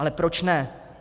Ale proč ne?